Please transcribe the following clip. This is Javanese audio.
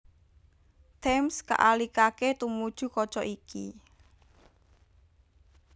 Thames kaalihaké tumuju kaca iki